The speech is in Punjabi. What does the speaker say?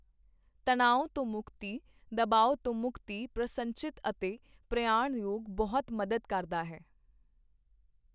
ਤਣਾਓ ਤੋਂ ਮੁਕਤੀ, ਦਬਾਓ ਤੋਂ ਮੁਕਤੀ, ਪ੍ਰਸੰਨਚਿਤ ਅਤੇ ਪ੍ਰਯਾਣ ਯੋਗ ਬਹੁਤ ਮਦਦ ਕਰਦਾ ਹੈ।